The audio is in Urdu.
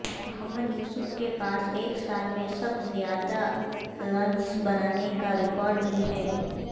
محمد یوسف کے پاس ایک سال میں سب زیادہ رنز بنانے کا ریکارڈ بھی ہے